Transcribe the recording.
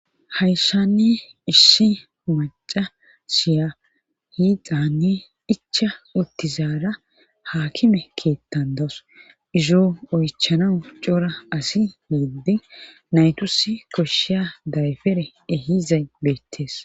hayssan issi wurcca asiya hiixani ichcha utizaara haakime keethan izo oychanawu cora asi yidi naytusi koshiya dayfere ehizay beetees.